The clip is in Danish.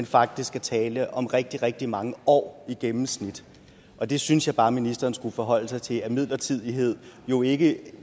faktisk er tale om rigtig rigtig mange år i gennemsnit og det synes jeg bare ministeren skulle forholde sig til midlertidighed jo ikke